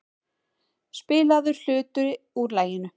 Spilaður hluti úr laginu.